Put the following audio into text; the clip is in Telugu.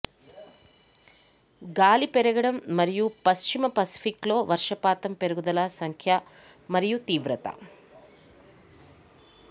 గాలి పెరగడం మరియు పశ్చిమ పసిఫిక్లో వర్షపాతం పెరుగుదల సంఖ్య మరియు తీవ్రత